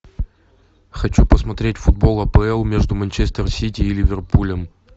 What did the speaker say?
хочу посмотреть футбол апл между манчестер сити и ливерпулем